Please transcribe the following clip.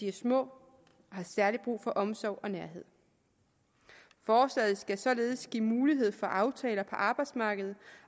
er små og har særlig brug for omsorg og nærhed forslaget skal således give mulighed for aftaler på arbejdsmarkedet